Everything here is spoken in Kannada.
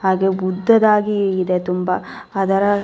ಹಾಗೆ ಬುದ್ಧದ ಹಾಗೆ ಇದೆ ತುಂಬಾ ಅದರ --